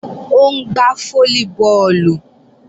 Ó ń gbá fólíbọọ̀lù